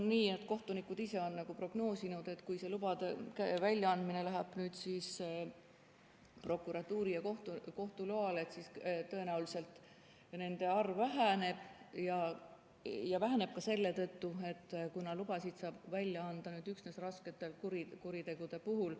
Kohtunikud on prognoosinud, et kui lubade väljaandmine toimub nüüd prokuratuuri ja kohtu loal, siis tõenäoliselt nende arv väheneb, ja väheneb ka selle tõttu, et lubasid saab välja anda nüüd üksnes raskete kuritegude puhul.